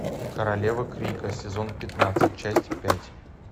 королевы крика сезон пятнадцать часть пять